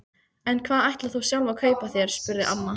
En hvað ætlar þú sjálf að kaupa þér? spurði amma.